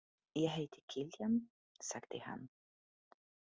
Ég heiti Kiljan, sagði hann.